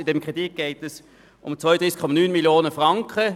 Bei diesem Kredit geht es um 32,9 Mio. Franken.